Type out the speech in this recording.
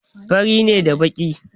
Fari ne da baƙi.